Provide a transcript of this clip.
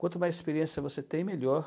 Quanto mais experiência você tem, melhor.